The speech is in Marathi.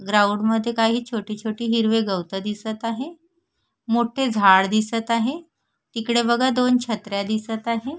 ग्राउंड मध्ये काही छोटी छोटी हिरवे गवत दिसत आहे मोठे झाड दिसत आहे तिकडे बघा दोन छत्र्या दिसत आहे.